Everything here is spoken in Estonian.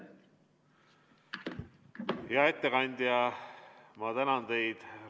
Hea ettekandja, ma tänan teid!